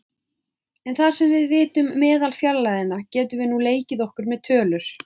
En þar sem við vitum meðalfjarlægðina getum við nú leikið okkur með tölur.